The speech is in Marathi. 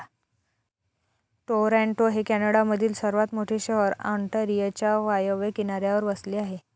टोरॉंटो हे कॅनडामधील सर्वात मोठे शहर ऑन्टारियोच्या वायव्य किनाऱ्यावर वसले आहे.